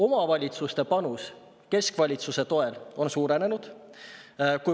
Omavalitsuste panus keskvalitsuse toel on suurenenud.